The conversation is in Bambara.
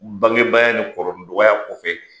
Bangebaaya nin kɔrɔ ni dɔgɔya kofɛ de